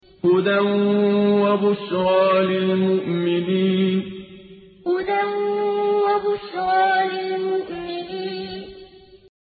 هُدًى وَبُشْرَىٰ لِلْمُؤْمِنِينَ هُدًى وَبُشْرَىٰ لِلْمُؤْمِنِينَ